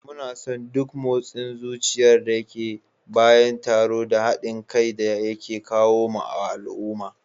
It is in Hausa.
Muna son duk motsin zuciyar da ke bayan taro da haɗin kai da yake kawo wa al'umma